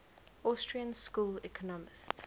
austrian school economists